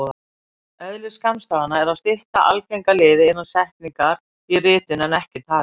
Eðli skammstafana er að stytta algenga liði innan setningar í ritun en ekki tali.